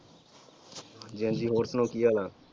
ਹਾਂਜੀ ਹਾਂਜੀ ਹੋਰ ਸੁਣਾਓ ਕੀ ਹਾਲ ਆ?